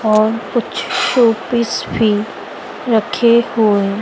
और कुछ showpiece भी रखे हुए--